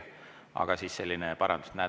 Aga selline parandus.